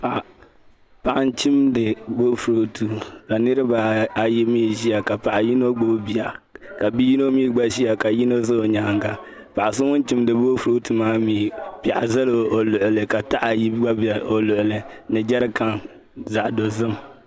Paɣa m chimdi boofurooto ka nirabaayi mii ʒiya ka paɣa yino gbubi bia ka bia yino mii gba ʒiya ka yino ʒɛ o nyaanga paɣa so ŋun chimdi boofurooto maa mii piɛɣu ʒɛla o luɣuli ka taha ayi gba ʒɛ o luɣuli ni jɛrikan zaɣ dozim